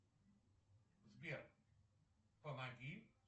сбер помоги